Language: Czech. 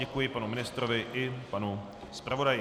Děkuji panu ministrovi i panu zpravodaji.